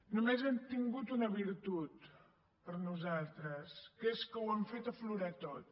només han tingut una virtut per nosaltres que és que ho han fet aflorar tot